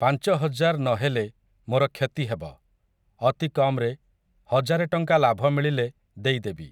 ପାଞ୍ଚ ହଜାର୍ ନ ହେଲେ ମୋର କ୍ଷତି ହେବ, ଅତି କମ୍‌ରେ, ହଜାରେ ଟଙ୍କା ଲାଭ ମିଳିଲେ ଦେଇ ଦେବି ।